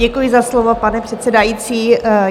Děkuji za slovo, pane předsedající.